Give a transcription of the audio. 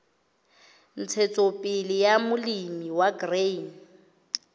ntshetsopele ya molemi wa grain